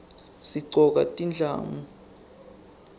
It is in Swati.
sigcoka tindlamu